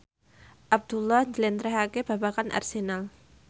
Abdullah njlentrehake babagan Arsenal